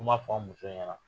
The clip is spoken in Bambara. fɔ an muso ɲɛna.